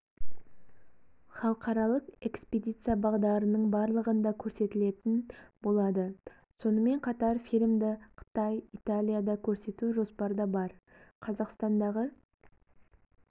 халықаралық экспедиция бағдарының барлығында көрсетілетін болады сонымен қатар фильмді қытай италияда көрсету жоспарда бар қазақстандағы